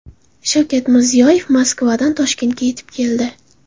Shavkat Mirziyoyev Moskvadan Toshkentga yetib keldi.